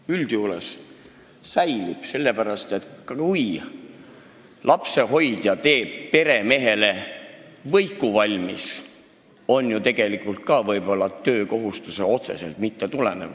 Oht üldjuhul säilib, sellepärast et kui lapsehoidja teeb peremehele võiku valmis, siis see ju võib-olla ka otseselt töökohustustest ei tulene.